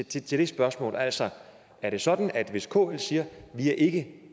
til til det spørgsmål altså er det sådan at hvis kl siger vi er ikke